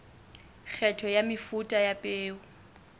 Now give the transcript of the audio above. kgetho ya mefuta ya peo